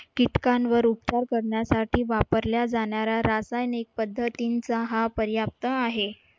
किटकांवर उपचार करण्यासाठी वापरला जाणारा रासायनिक पद्धतींचा हा पर्याप्त आहे.